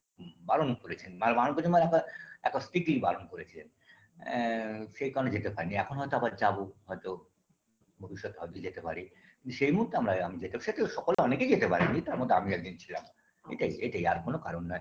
হুম বারণ করেছেন মানে বারণ করেছেন মানে আপনার এক strictly বারণ করেছেন এ সেই কারণে যেতে পারিনি এখন হয়তো আবার যাবো হয়তো ভবিষ্যতে ভাবছি যেতে পারি সেই মুহূর্তে আমরা আমি যেতে সে কেউ সকল অনেকেই যেতে পারেনি তারমধ্যে আমিও একজন ছিলাম এটাই এইটাই আর কোনো কারণ নেই